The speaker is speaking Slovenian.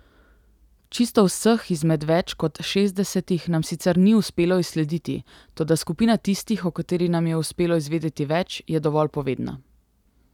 Čisto vseh izmed več kot šestdesetih nam sicer ni uspelo izslediti, toda skupina tistih, o katerih nam je uspelo izvedeti več, je dovolj povedna.